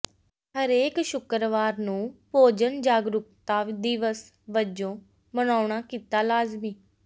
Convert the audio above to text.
ਹਰੇਕ ਸ਼ੁਕਰਵਾਰ ਨੂੰ ਭੋਜਨ ਜਾਗਰੂਕਤਾ ਦਿਵਸ ਵਜੋਂ ਮਨਾਉਣਾ ਕੀਤਾ ਲਾਜ਼ਮੀ